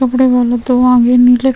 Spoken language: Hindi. कपड़े वाले त्यौहार आ रहे है।